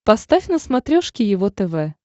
поставь на смотрешке его тв